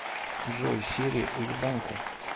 джой сири уебанка